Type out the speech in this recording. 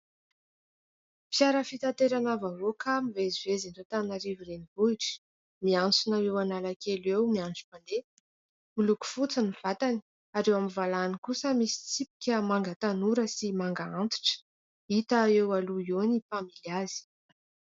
Fiara fitaterana vahoaka mivezivezy eto Antananarivo renivohitra, miantsona eo Analakely eo, miandry mpandeha. Miloko fotsy ny vatany ary eo amin'ny valahany kosa misy tsipika manga tanora sy manga antitra. Hita eo aloha eo ny mpamily azy.